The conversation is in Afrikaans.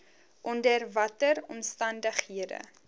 onder watter omstandighede